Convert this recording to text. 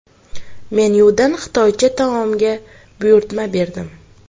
Menyudan xitoycha taomga buyurtma berdim.